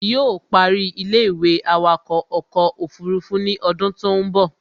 Yóò ó parí ilé-ìwé awakọ̀ ọkọ̀ òfurufú ní odún tó ń bọ̀